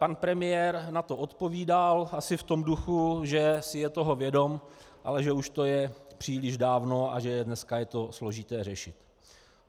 Pan premiér na to odpovídal asi v tom duchu, že si je toho vědom, ale že už to je příliš dávno a že dneska je to složité řešit.